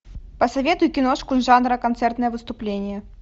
посоветуй киношку жанра концертное выступление